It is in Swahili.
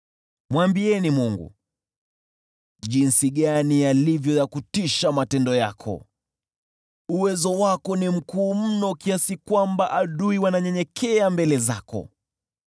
Mwambieni Mungu, “Jinsi gani yalivyo ya kutisha matendo yako! Uwezo wako ni mkuu mno kiasi kwamba adui wananyenyekea mbele zako.